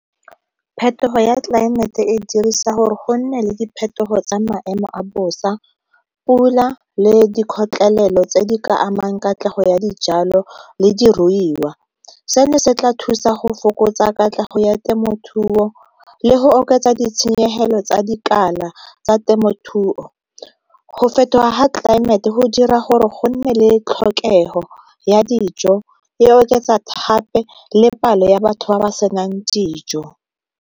Phetogo ya tlelaemete e dirisa gore go nne le diphetogo tsa maemo a bosa, pula le di kgotlelelo tse di ka amang katlego ya dijalo le diruiwa. Seno se tla thusa go fokotsa katlego ya temothuo le go oketsa ditshenyegelo tsa dikala tsa temothuo, go fetoga ga tlelaemete go dira gore go nne le tlhokego ya dijo e oketsa le palo ya batho ba ba senang dijo.